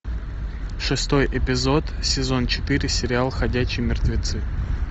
шестой эпизод сезон четыре сериал ходячие мертвецы